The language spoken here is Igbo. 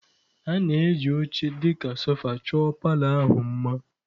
A na-eji oche dị ka sofa chọọ palour ahụ mma.